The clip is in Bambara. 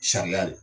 Sariya de